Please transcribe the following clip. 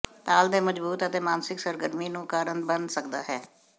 ਤਾਲ ਦੇ ਮਜ਼ਬੂਤ ਅਤੇ ਮਾਨਸਿਕ ਸਰਗਰਮੀ ਨੂੰ ਦਾ ਕਾਰਨ ਬਣ ਸਕਦਾ ਹੈ